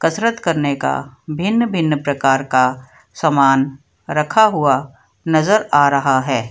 कसरत करने का भिन्न भिन्न प्रकार का समान रखा हुआ नजर आ रहा है।